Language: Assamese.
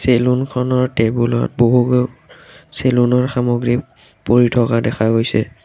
চেলুনখনৰ টেবুলত বহু চেলুনৰ সামগ্ৰী পৰি থকা দেখা পোৱা গৈছে।